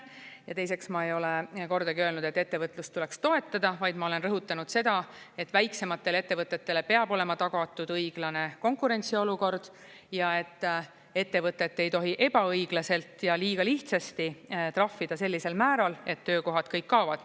Ja teiseks, ma ei ole kordagi öelnud, et ettevõtlust tuleks toetada, vaid ma olen rõhutanud seda, et väiksematele ettevõtetele peab olema tagatud õiglane konkurentsiolukord ja et ettevõtet ei tohi ebaõiglaselt ja liiga lihtsasti trahvida sellisel määral, et töökohad kõik kaovad.